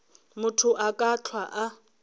motho a ka hlwa a